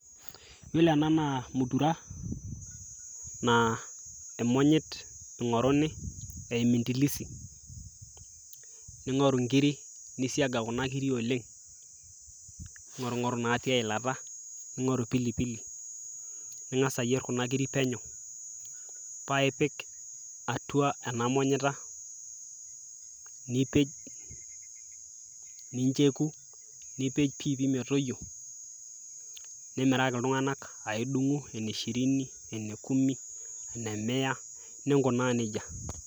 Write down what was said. Yiolo ena naa mutura, naa imonyit ing'oruni, emintilisi. Ning'oru nkiri, nisiaga kuna kiri oleng'. Ning'orung'oru natii eilata, ning'oru pilipili, ning'asa ayier kuna kiri penyo, pa ipik atua enamonyita, nipej, nincheku, nipej piipi metoyio, nimiraki iltung'anak. Ah idung'u ene shirini, ene kumi, ene mea, ninkunaa nejia.